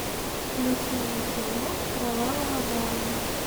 включи мне кино кровавая барыня